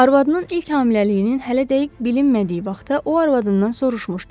Arvadının ilk hamiləliyinin hələ dəqiq bilinmədiyi vaxtda o arvadından soruşmuşdu.